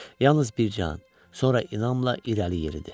Yalnız bir an, sonra inamla irəli yeridi.